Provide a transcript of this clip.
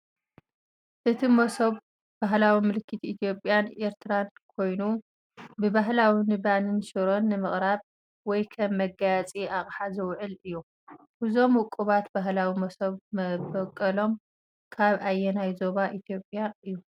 እቲ መሶብ ባህላዊ ምልክት ኢትዮጵያን ኤርትራን ኮይኑ፡ ብባህሊ ንባኒን ሽሮን ንምቕራብ ወይ ከም መጋየጺ ኣቕሓ ዝውዕል እዩ። እዞም ውቁባት ባህላዊ መሶብ መበቆሎም ካብ ኣየናይ ዞባ ኢትዮጵያ እዩ?